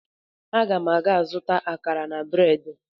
Aga m aga ịzụta akara na breedị